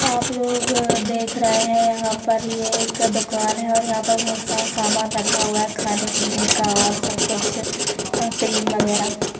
आप लोग देख रहे हैंयहाँ पर ये एक दुकान है और यहाँ पर बहुत सारा सामान रखा हुआ है खाने पीने का और सब कुछ क्रीम वगैरह--